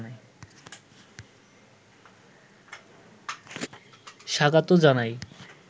স্বাগত জানাই